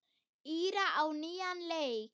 Íra á nýjan leik.